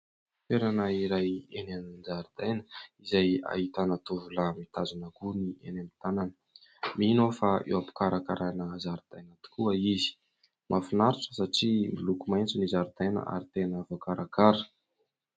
Toerana iray eny an-jaridaina izay ahitana tovolahy mitazona gony eny an-tanany. Mino aho fa eo am-pikarakarana zaridaina tokoa izy. Mahafinaritra satria miloko maitso ny zaridaina ary tena voakarakara.